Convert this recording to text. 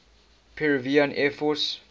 peruvian air force